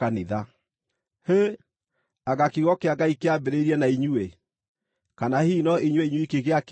Hĩ! Anga kiugo kĩa Ngai kĩambĩrĩirie na inyuĩ? Kana hihi no inyuĩ inyuiki gĩakinyĩire?